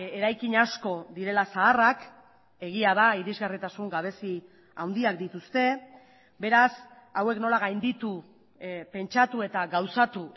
eraikin asko direla zaharrak egia da irisgarritasun gabezi handiak dituzte beraz hauek nola gainditu pentsatu eta gauzatu